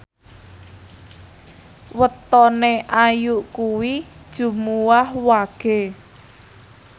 wetone Ayu kuwi Jumuwah Wage